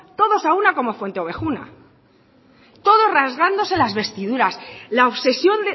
todos a una como en fuenteovejuna todos rasgándose las vestiduras la obsesión